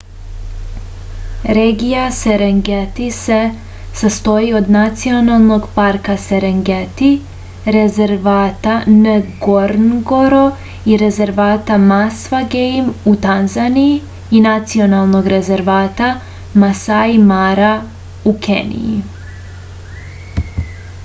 regija serengeti se sastoji od nacionalnog parka serengeti rezervata ngorongoro i rezervata masva gejm u tanzaniji i nacionalnog rezervata masai mara u keniji